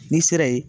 N'i sera ye